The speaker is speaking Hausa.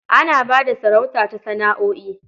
Ana ba da sarauta ta sana'o'i.